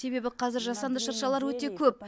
себебі қазір жасанды шыршалар өте көп